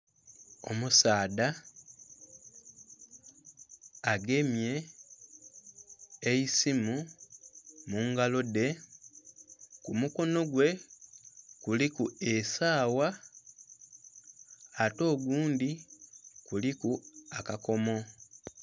Omusaadha agemye eisimu mungalo dhe kumukono gwe kuliku esawa ate ogundhi kuliku akakomo.